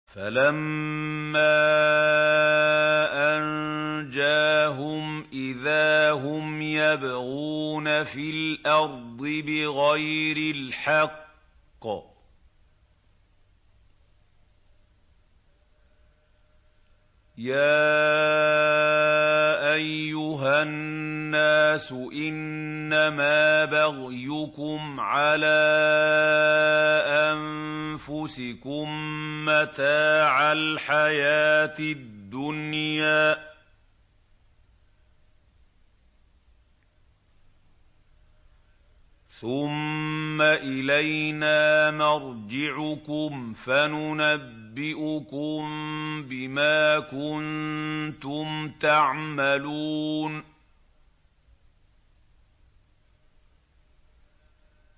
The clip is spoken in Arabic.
فَلَمَّا أَنجَاهُمْ إِذَا هُمْ يَبْغُونَ فِي الْأَرْضِ بِغَيْرِ الْحَقِّ ۗ يَا أَيُّهَا النَّاسُ إِنَّمَا بَغْيُكُمْ عَلَىٰ أَنفُسِكُم ۖ مَّتَاعَ الْحَيَاةِ الدُّنْيَا ۖ ثُمَّ إِلَيْنَا مَرْجِعُكُمْ فَنُنَبِّئُكُم بِمَا كُنتُمْ تَعْمَلُونَ